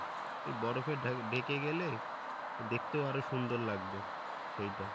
এই বরফে ঢে~ঢেকে গেলে দেখতেও আরো সুন্দর লাগবে সেইটা